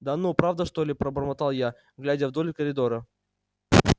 да ну правда что ли пробормотал я глядя вдоль коридора